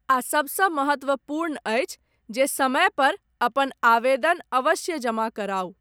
आ सबसँ महत्त्वपूर्ण अछि, जे समयपर, अपन आवेदन अवश्य जमा कराउ।